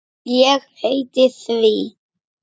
Ég heiti því.